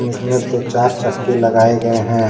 इसमे दो चार चक्के लगाए गए हैं।